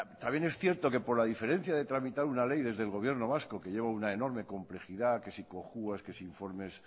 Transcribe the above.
también es cierto que por la diferencia de tramitar una ley desde el gobierno vasco que lleva una enorme complejidad que si cojuas que si informes